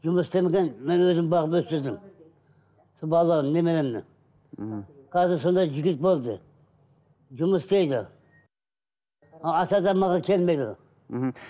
жұмыс істегенмін мен өзім бағып өсірдім сол балаларым немеремді мхм қазір сондай жігіт болды жұмыс істейді ата деп маған келмейді мхм